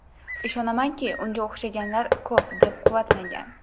Ishonamanki, unga o‘xshaganlar ko‘p”, deb quvvatlagan.